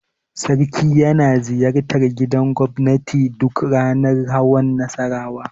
Sarki yana ziyartar gidan gobnati duk ranar hawan Nassarawa.